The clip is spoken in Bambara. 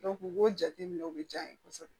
u b'o jateminɛ o bɛ diya n ye kosɛbɛ